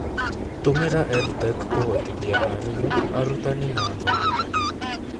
Tũmĩra EdTech kũhotithia arimũ, arutani, na athomithania.